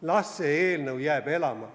Las see eelnõu jääb elama.